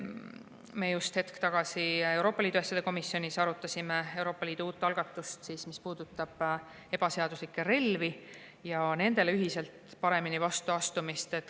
Me just hetk tagasi Euroopa Liidu asjade komisjonis arutasime Euroopa Liidu uut algatust, mis puudutab ebaseaduslikke relvi ja nendele ühiselt paremini vastu astumist.